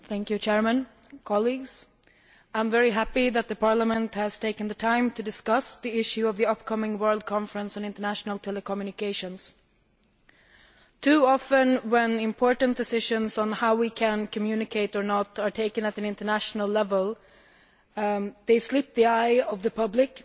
Mr President, colleagues, I am very happy that Parliament has taken the time to discuss the issue of the upcoming World Conference on International Telecommunications. Too often when important positions on how we can communicate or not are taken at an international level, they escape the eye of the public